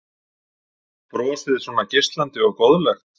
Brosið svona geislandi og góðlegt?